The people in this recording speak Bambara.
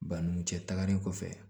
Banin cɛ tagalen kɔfɛ